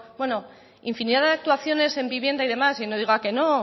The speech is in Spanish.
infinidad de actuaciones en vivienda y demás y no diga que no